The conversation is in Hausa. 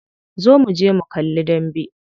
Zo muje mu kalli dambe.